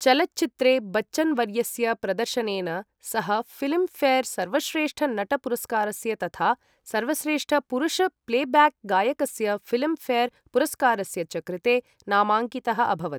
चलच्चित्रे बच्चन् वर्यस्य प्रदर्शनेन सः फिल्म् फेर् सर्वश्रेष्ठ नट पुरस्कारस्य तथा सर्वश्रेष्ठ पुरुष प्लेब्याक् गायकस्य फिल्म् फेर् पुरस्कारस्य च कृते नामाङ्कितः अभवत्।